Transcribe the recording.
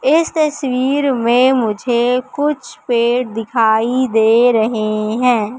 इस तस्वीर में मुझे कुछ पेड़ दिखाई दे रहे हैं।